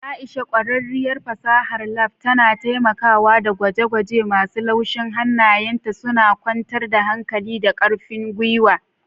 Aisha, ƙwararriyar fasahar lab, tana taimakawa da gwaje-gwaje masu laushi, hannayenta suna kwantar da hankali da ƙarfin gwiwa.